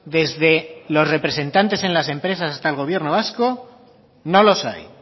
desde los representantes en las empresas hasta el gobierno vasco no los hay